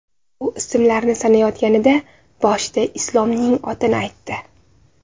U ismlarni sanayotganida, boshida Islomning otini aytdi.